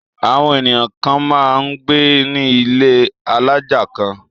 Àwọn ènìyàn kan máa ń gbé ní ilé alájà kan.